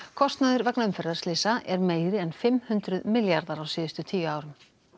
kostnaður vegna umferðarslysa er meiri en fimm hundruð milljarðar á síðustu tíu árum